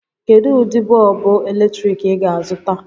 Kedu ụdị bọọbụ eletrik ị ga-azụta?